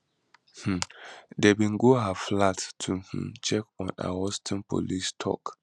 um dem bin go her flat to um check on her houston police tok